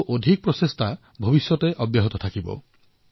চৰকাৰৰ এই প্ৰয়াস আগলৈও অব্যাহত থাকিব